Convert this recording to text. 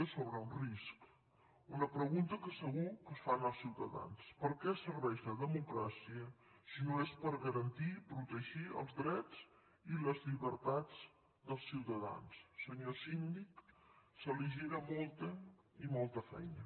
és sobre un risc una pregunta que segur que es fan els ciutadans per què serveix la democràcia si no és per garantir i protegir els drets i les llibertats dels ciutadans senyor síndic se li gira molta i molta feina